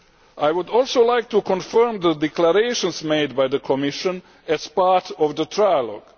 I would also like to confirm the declarations made by the Commission as part of the trilogue.